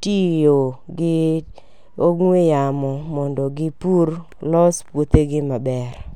tiyo gi ong'ue yamo mondo gipur loso puothegi maber.